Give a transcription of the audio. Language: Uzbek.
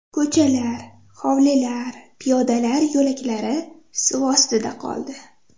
Ko‘chalar, hovlilar, piyodalar yo‘laklari suv ostida qoldi.